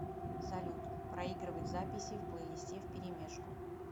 салют проигрывать записи в плейлисте вперемешку